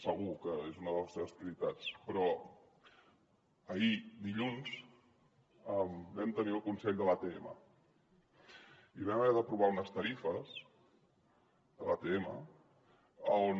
segur que és una de les seves prioritats però dilluns vam tenir el consell de l’atm i vam haver d’aprovar unes tarifes de l’atm on